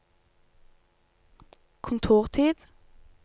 kontortid